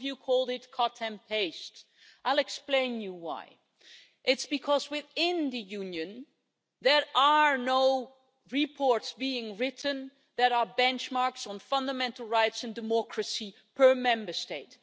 some called it cut and paste'. I will explain why. It's because within the Union there are no reports being written that are benchmarks on fundamental rights and democracy per Member State.